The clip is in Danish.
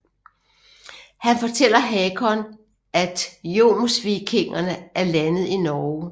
Han fortæller Hakon at jomsvikingerne er landet i Norge